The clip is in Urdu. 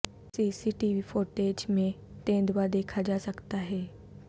سی سی ٹی وی فوٹیج میں تیندوادیکھا جاسکتا ہے